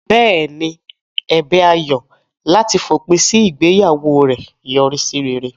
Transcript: Bẹ́ẹ̀ ni, ẹ̀bẹ̀ Ayo láti fòpin sí ìgbéyàwó rẹ̀ yọrí sí rere.